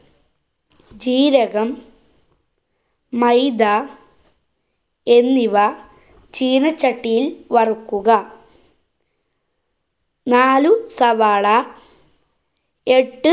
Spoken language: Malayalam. ജീരകം, മൈദ, എന്നിവ ചീനച്ചട്ടിയില്‍ വറുക്കുക. നാലു സവാള എട്ട്